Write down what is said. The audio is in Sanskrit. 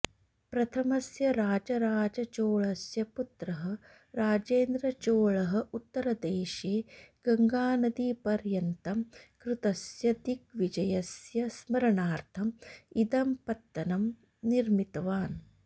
प्रथमस्य राजराजचोळस्य पुत्रः राजेन्द्रचोळः उत्तरदेशे गङ्गानदीपर्यन्तं कृतस्य दिग्विजयस्य स्मरणार्थम् इदं पत्तनं निर्मितवान्